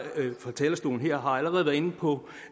fra talerstolen her allerede været inde på